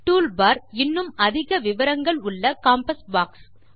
tool bar இன்னும் அதிக விவரங்கள் உள்ள காம்பாஸ் பாக்ஸ்